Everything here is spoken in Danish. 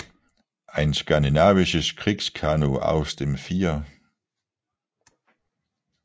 Ein skandinavisches Kriegskanu aus dem 4